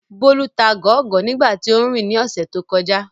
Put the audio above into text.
Bólú ta gọ̀ọ́gọ̀ọ́ nígbà tí óún rìn ní ọ̀sẹ̀ tó kọjá